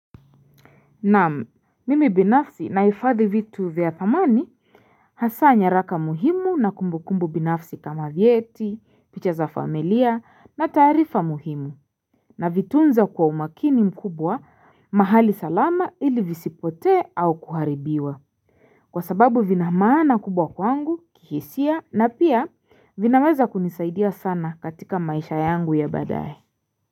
Na mimi binafsi naifadhi vitu vya thamani Hasa nyaraka muhimu na kumbukumbu binafsi kama vieti picha za familia na tarifa muhimu na vitunza kwa umakini mkubwa mahali salama ili visipote au kuharibiwa Kwa sababu vinamana kubwa kwangu kihisia na pia vinameza kunisaidia sana katika maisha yangu ya badaye.